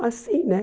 Mas sim, né?